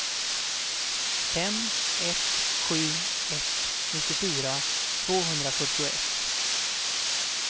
fem ett sju ett nittiofyra tvåhundrafyrtioett